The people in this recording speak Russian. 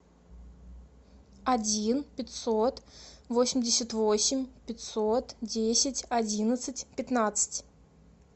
один пятьсот восемьдесят восемь пятьсот десять одиннадцать пятнадцать